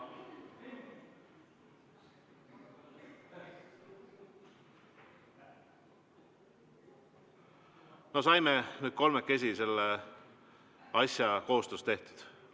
Saime nüüd kolmekesi koos selle asja tehtud.